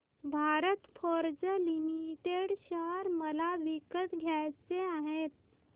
Bharat Forge Limited share मला विकत घ्यायचे आहेत